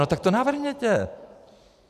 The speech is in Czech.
No tak to navrhněte.